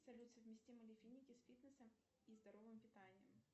салют совместимы ли финики с фитнесом и здоровым питанием